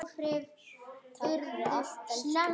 Takk fyrir allt, elsku Hanna.